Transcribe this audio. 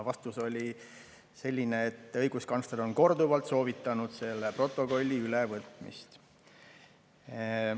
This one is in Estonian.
Vastus oli selline, et õiguskantsler on korduvalt soovitanud selle protokolli ülevõtmist.